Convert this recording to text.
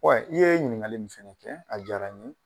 i ye ɲiniŋali min fɛnɛ kɛ a diyara n ye.